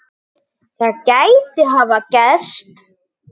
Það gæti hafa gerst.